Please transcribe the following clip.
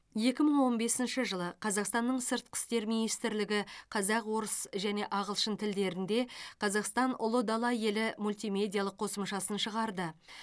екі мың он бесінші жылы қазақстанның сыртқы істер министрлігі қазақ орыс және ағылшын тілдерінде қазақстан ұлы дала елі мультимедиялық қосымшасын шығарды